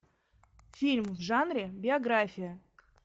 фильм в жанре биография